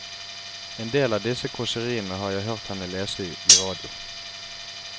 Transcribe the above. En del av disse kåseriene har jeg hørt henne lese i radio.